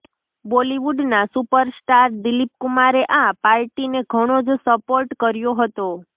બોલીવુડના super star Dilip કુમારે આ પાર્ટીને ઘણો જ સપોર્ટ કર્યો હતો